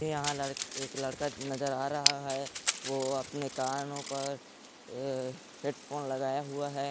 यहाँ लड़क- एक लड़का नजर आ रहा है वो अपने कानों पर अअअ हेडफोन लगाया हुआ है।